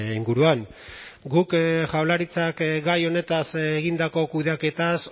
inguruan guk jaurlaritzak gai honetaz egindako kudeaketaz